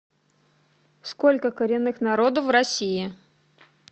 сколько коренных народов в россии